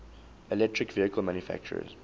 electric vehicle manufacturers